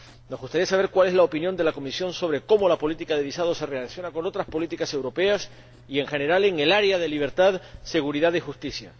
Nos gustaría saber cuál es la opinión de la Comisión sobre cómo se relaciona la política de visados con otras políticas europeas y, en general, en el área de libertad, seguridad y justicia.